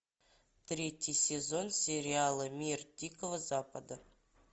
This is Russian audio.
третий сезон сериала мир дикого запада